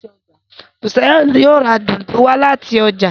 Busayo yóò rá Dùndú wá láti ọjà.